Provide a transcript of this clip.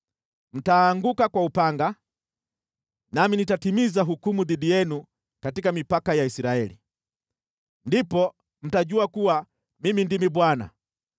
Mtaanguka kwa upanga, nami nitatimiza hukumu dhidi yenu katika mipaka ya Israeli. Ndipo mtajua kuwa Mimi ndimi Bwana .